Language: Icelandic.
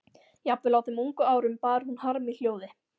Jafnvel á þeim ungu árum bar hún harm í hljóði.